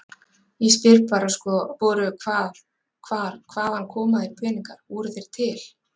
Ég spyr bara sko voru, hvað, hvar, hvaðan koma þeir peningar, voru þeir til?